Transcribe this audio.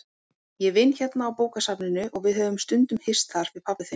Ég vinn hérna á bókasafninu og við höfum stundum hist þar, við pabbi þinn.